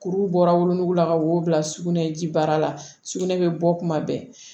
Kuru bɔra wolonugu la ka wo bila sugunɛ ji baara la sugunɛ bɛ bɔ kuma bɛɛ